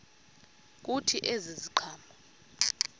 kuthi ezi ziqhamo